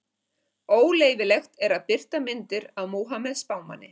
Óleyfilegt er að birta myndir af Múhameð spámanni.